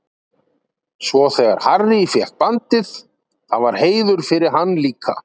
Svo þegar Harry fékk bandið, það var heiður fyrir hann líka.